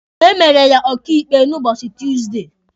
E mere ya ọkaịkpe n'ụbọchị Tuusdey.